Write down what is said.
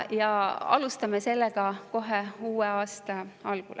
Ja alustame sellega kohe uue aasta algul.